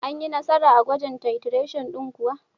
Anyi Nasara a gwajin titration din kuwa.